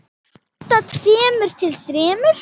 Handa tveimur til þremur